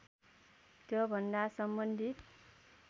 त्योभन्दा सम्बन्धित